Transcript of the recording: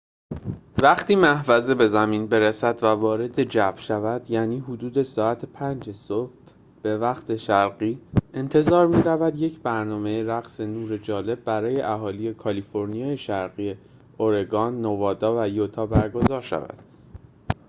وقتی محفظه به زمین برسد و وارد جو شود، یعنی حدود ساعت 5 صبح به وقت شرقی، انتظار می‌رود یک برنامه رقص نور جالب برای اهالی کالیفرنیای شمالی، اورگان، نوادا و یوتا برگزار شود